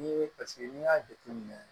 N'i ye paseke n'i y'a jateminɛ